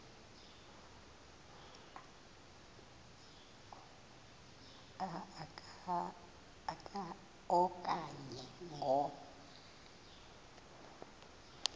a okanye ngo